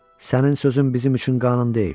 Sənin sözün bizim üçün qanun deyil.